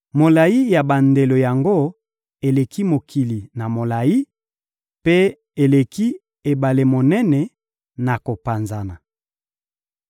Molayi ya bandelo yango eleki mokili na molayi, mpe eleki ebale monene na kopanzana.